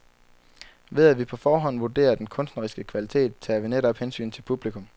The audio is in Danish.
Ved at vi på forhånd vurderer den kunstneriske kvalitet, tager vi netop hensyn til publikum.